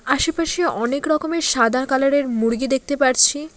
আশেপাশে অনেক রকমের সাদা কালার -এর মুরগি দেখতে পারছি।